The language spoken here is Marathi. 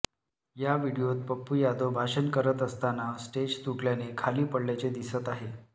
या व्हिडीओत पप्पू यादव भाषण करत असताना स्टेज तुटल्याने खाली पडल्याचे दिसत आहे